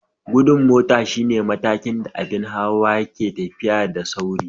Gudun mota shine matakin da abin hawa ke tafiya da sauri.